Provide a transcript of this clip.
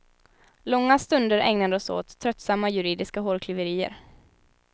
Långa stunder ägnades åt tröttsamma juridiska hårklyverier.